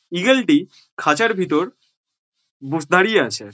ঈগলটি খাঁচার ভিতর বোস দাঁড়িয়ে আছে।